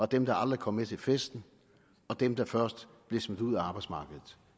dem der aldrig kom med til festen og dem der først bliver smidt ud af arbejdsmarkedet